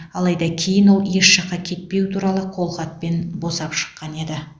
алайда кейін ол еш жаққа кетпеу туралы қолхатпен босап шыққан еді